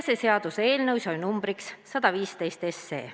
Seaduseelnõu sai numbriks 115.